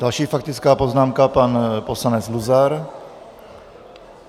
Další faktická poznámka pan poslanec Luzar.